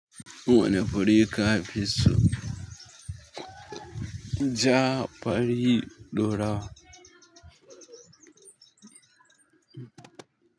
Wane fure ka fiso ja fari ɗorawa.